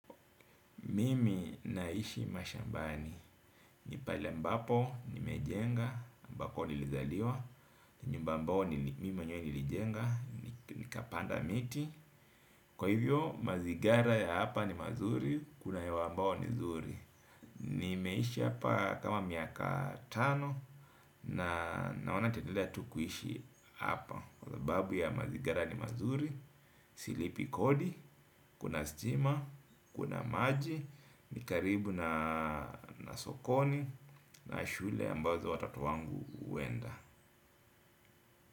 Mimi naishi mashambani. Ni pale ambapo, nimejenga, ambako nilizaliwa. Ni nyumba ambao ni mimi mwenywe nilijenga, nikapanda miti. Kwa hivyo, mazigara ya hapa ni mazuri, kuna hewa ambao ni nzuri. Nimeishi hapa kama miaka tano, na naona nitaendelea tu kuishi hapa. Kwa sababu ya mazigara ni mazuri, silipi kodi, kuna stima, kuna maji. Ni karibu na sokoni. Na shule ambazo watoto wangu huenda.